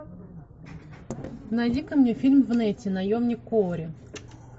найди ка мне фильм в нете наемник куорри